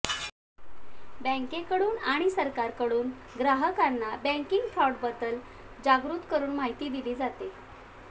बँकेकडून आणि सरकारकडून ग्राहकांना बँकिंग फ्रॉडबद्दल जागृत करुन माहिती दिली जाते